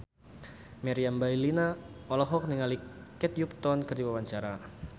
Meriam Bellina olohok ningali Kate Upton keur diwawancara